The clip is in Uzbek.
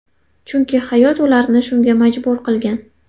Chunki hayot ularni shunga majbur qilgan.